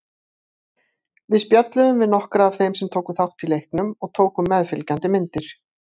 Við spjölluðum við nokkra af þeim sem tóku þátt í leiknum og tókum meðfylgjandi myndir.